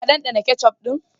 Ka dandana ketchup din?